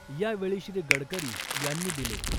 यावेळी श्री.गडकरी यांनी दिले.